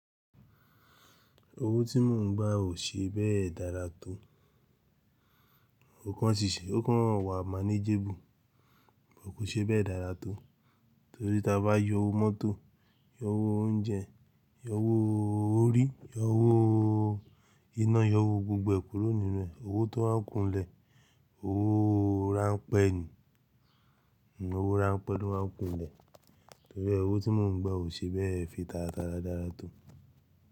Owó tí mò ń gba ò ṣe bẹ́ẹ̀ dára tó. Ó kan ṣìṣe, ó kan wà manageable, but kò ṣe bẹ́ẹ̀ dára tó. Torí tí a bá yọ owó mọ́tò, yọ owó oúnjẹ, yọ owó orí, yọ owó iná, yọ owó gbogbo e kúrò nínú rẹ̀, owó tó máa ń kún nlẹ̀, owó ránpẹ́ ni. Owó ránpẹ́ ló máa ń kú nlẹ̀. Torí e owó tí mò ń gba ò ṣe bẹ́ẹ̀ fi taratara dára tó.